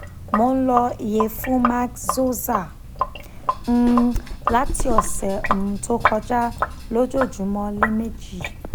mo n lo iyefun maxoza um lati ọsẹ um to koja lojoojumọ lẹmeji